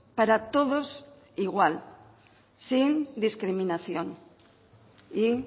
para todos igual sin discriminación y